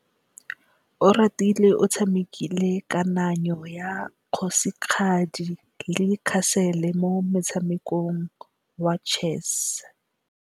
Oratile o tshamekile kananyô ya kgosigadi le khasêlê mo motshamekong wa chess.